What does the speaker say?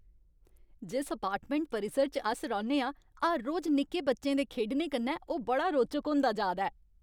जिस अपार्टमैंट परिसर च अस रौह्न्ने आं, हर रोज निक्के बच्चें दे खेढने कन्नै ओह् बड़ा रोचक होंदा जा दा ऐ।